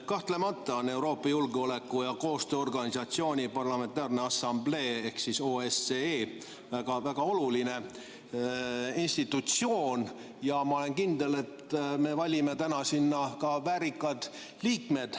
Kahtlemata on Euroopa Julgeoleku- ja Koostööorganisatsiooni ehk OSCE Parlamentaarne Assamblee väga oluline institutsioon ja ma olen kindel, et me valime täna sinna ka väärikad liikmed.